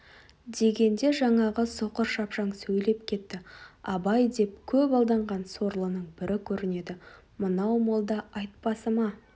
дегенде жаңағы соқыр шапшаң сөйлеп кетті абай деп көп алданған сорлының бірі көрінеді мынау молда айтпасыма